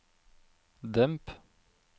demp